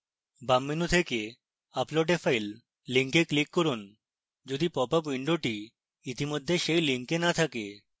বাম menu থেকে upload a file link click করুন যদি popup window ইতিমধ্যে সেই link না থাকে